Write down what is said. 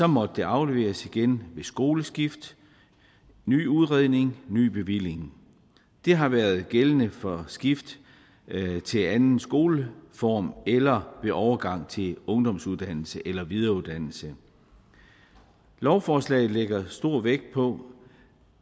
måtte det afleveres igen ved skoleskift ny udredning ny bevilling det har været gældende for skift til anden skoleform eller ved overgang til ungdomsuddannelse eller videreuddannelse lovforslaget lægger stor vægt på